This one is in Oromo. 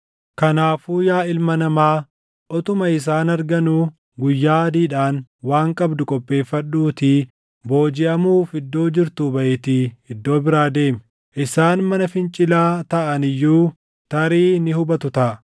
“Kanaafuu yaa ilma namaa, utuma isaan arganuu guyyaa adiidhaan waan qabdu qopheeffadhuutii boojiʼamuuf iddoo jirtuu baʼiitii iddoo biraa deemi. Isaan mana fincilaa taʼani iyyuu tarii ni hubatu taʼa.